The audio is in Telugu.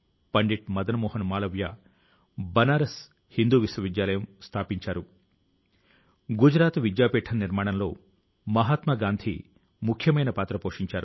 రెసిడెన్సీ లో జరిగిన డ్రోన్ శో లో భారత స్వాతంత్య్ర పోరాటానికి సంబంధించిన వేరు వేరు అంశాలకు జీవం పోయడం జరిగింది